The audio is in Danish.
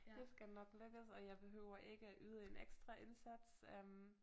Det skal nok lykkes og jeg behøver ikke yde en ekstra indsats øh